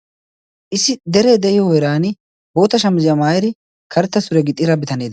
issi dere de7iyo heeran bootta shamizziyaa maayiddi karetta suriya gixxiidda bitane...